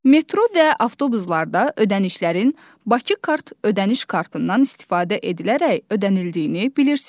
Metro və avtobuslarda ödənişlərin Bakı Kart ödəniş kartından istifadə edilərək ödənildiyini bilirsiz.